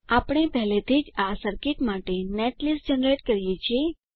આપણે પહેલાથી જ આ સર્કિટ માટે નેટલીસ્ટ જનરેટ કર્યી છે